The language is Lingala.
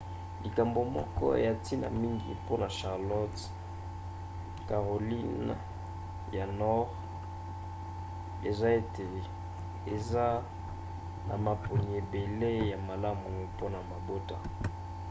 likambo moko ya ntina mingi mpona charlotte caroline ya nordi eza ete eza na maponi ebele ya malamu mpona mabota